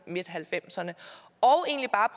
nitten halvfemserne